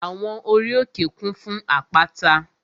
Àwọn ori òkè kún fún àpáta